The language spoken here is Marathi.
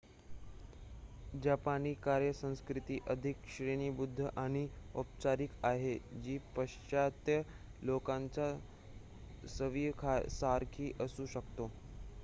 जपानी कार्य संस्कृती अधिक श्रेणीबद्ध आणि औपचारिक आहे जी पाश्चात्य लोकांच्या सवयीसारखी असू शकते